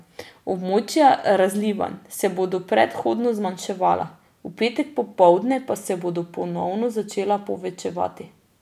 Območja razlivanj se bodo prehodno zmanjševala, v petek popoldne pa se bodo ponovno začela povečevati.